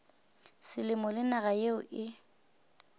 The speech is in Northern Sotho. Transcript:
selemo le naga yeo e